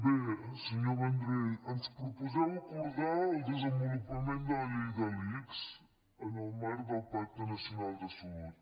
bé senyor vendrell ens proposeu acordar el desenvolupament de la llei de l’ics en el marc del pacte nacional de salut